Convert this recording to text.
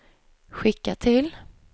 skicka till